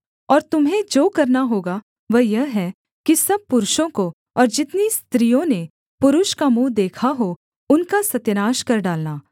और तुम्हें जो करना होगा वह यह है कि सब पुरुषों को और जितनी स्त्रियों ने पुरुष का मुँह देखा हो उनका सत्यानाश कर डालना